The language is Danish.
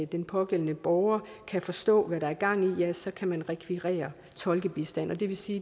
den pågældende borger kan forstå hvad der er gang i ja så kan man rekvirere tolkebistand og det vil sige